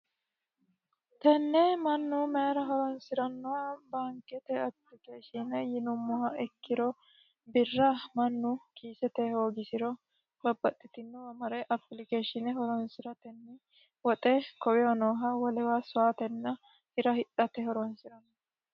Tenne Mannu mayiira horonsiranno baankete apilikashiine yinumoha ikkiro birra mannu kiisete hoogisiro ise horonsire woxe wolewa sowaatenna hira hidhate horonsiranno.